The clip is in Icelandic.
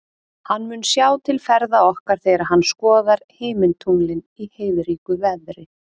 Hann mun sjá til ferða okkar þegar hann skoðar himintunglin í heiðríku veðri.